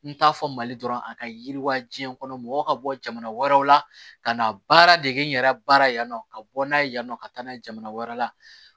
N t'a fɔ mali dɔrɔn a ka yiriwa diɲɛ kɔnɔ mɔgɔ ka bɔ jamana wɛrɛw la ka na baara dege yɛrɛ baara la yan nɔ ka bɔ n'a ye yan nɔ ka taa n'a ye jamana wɛrɛ la